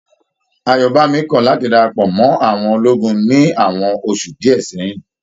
Ayobami kọ láti darapọ̀ mọ àwọn ológun ní àwọn oṣù díẹ̀ sẹyìn.